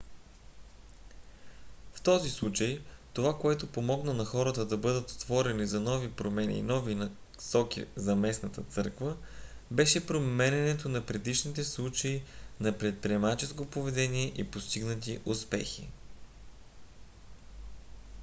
в този случай това което помогна на хората да бъдат отворени за нови промени и нови насоки за местната църква беше припомнянето на предишните случаи на предприемаческо поведение и постигнати успехи